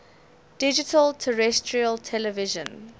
digital terrestrial television